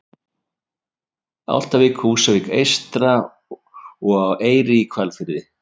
Álftavík, Húsavík eystra og á Eyri í Hvalfirði.